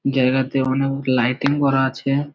জায়গাতে অনেক লাইটিং করা আছে।